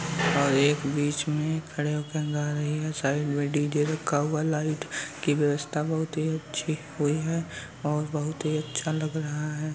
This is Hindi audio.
और एक बीच में खड़े होके गा रही है। साइड में डीजे रखा हुआ है। लाइट की व्यवस्था बहोत ही अच्छी हुई है और बहोत ही अच्छा लग रहा है।